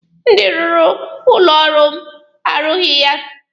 Ndị rụrụ ụlọ ọrụ m arụtaghị ya